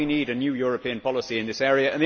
Why do we need a new European policy in this area?